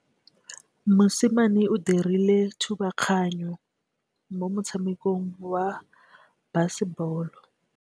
Mosimane o dirile thubaganyô mo motshamekong wa basebôlô.